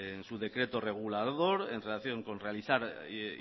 en su decreto regulador en relación con realizar